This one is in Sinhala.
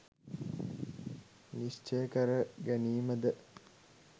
නිශ්චය කර ගැනීමද